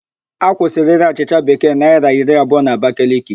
A kwusịrị írē achịcha Bekee naịra iri abụọ n'Abakaliki